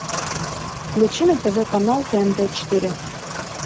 включи на тв канал тнт четыре